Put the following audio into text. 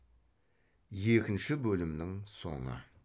екінші бөлімнің соңы